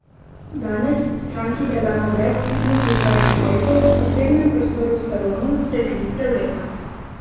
Danes stranki predamo brezhibno pripravljen avto v posebnem prostoru v salonu, prekrit s prevleko.